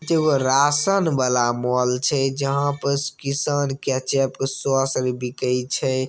जो वो रासन वाला मॉल छे जहाँ पर किसान केचप सॉस बिके छे।